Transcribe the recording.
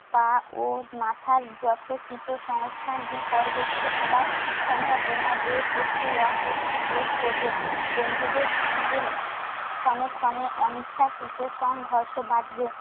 পা ও মাথার যথোচিত সংস্থান বিপর্যস্ত হবার সম্ভাবনা দেখে একটু অস্বস্তি বোধ করবেন। কন্ঠিদের সঙ্গে ক্ষনে ক্ষনে অনিচ্ছাকৃত সংঘর্ষ বাধে